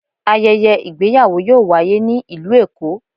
Ayẹyẹ ìgbéyàwò yọọ waye ni ilú Èko.